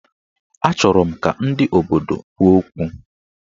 Achọrọ m ka ndị obodo kwuo okwu